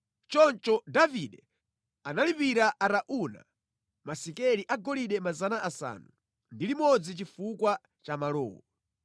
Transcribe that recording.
Choncho Davide analipira Arauna masekeli agolide 600 chifukwa cha malowo.